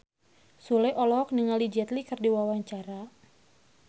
Sule olohok ningali Jet Li keur diwawancara